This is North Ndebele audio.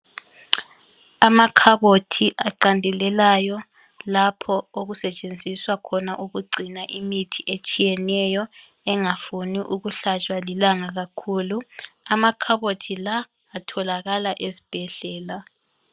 Amakhabothi aqandelelayo lapho okusetshenziswa khona ukugcina imithi etshiyeneyo engafuni ukuhlatshwa lilanga kakhulu. Amakhabothi la atholakala ezibhedlela.